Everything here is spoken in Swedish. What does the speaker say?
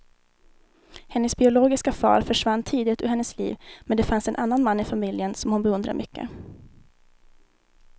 Hennes biologiska far försvann tidigt ur hennes liv, men det finns en annan man i familjen som hon beundrar mycket.